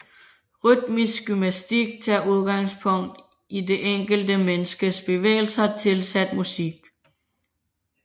Rytmisk gymnastik tager udgangspunkt i det enkelte menneskes bevægelser tilsat musik